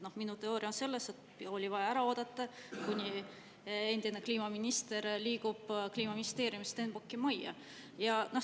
Noh, minu teooria on see, et oli vaja ära oodata, kuni endine kliimaminister liigub Kliimaministeeriumist Stenbocki majja.